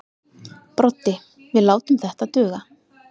Broddi: Við látum þetta duga.